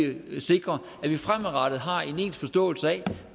vi sikrer at vi fremadrettet har en ens forståelse af